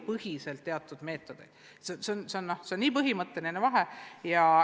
See on põhimõtteline vahe.